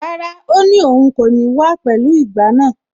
Rárá, ó ní òun kò ní wá pẹ̀lú ìgbá náà.